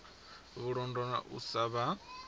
vhulondo na u sa vha